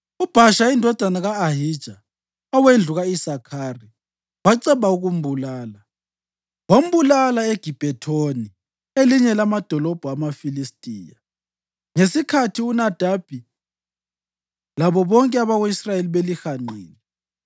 UBhasha indodana ka-Ahija owendlu ka-Isakhari waceba ukumbulala. Wambulala eGibhethoni elinye lamadolobho amaFilistiya, ngesikhathi uNadabi labo bonke abako-Israyeli belihanqile.